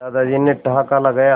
दादाजी ने ठहाका लगाया